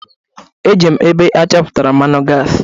Ejere m ebe achọpụtalụ mmanụ gasi.